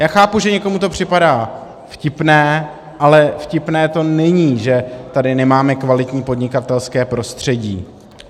Já chápu, že někomu to připadá vtipné, ale vtipné to není, že tady nemáme kvalitní podnikatelské prostředí.